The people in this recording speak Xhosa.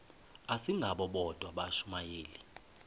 asingabo bodwa abashumayeli